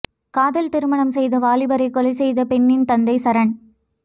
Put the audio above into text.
காதல் திருமணம் செய்த வாலிபரை கொலை செய்த பெண்ணின் தந்தை சரண்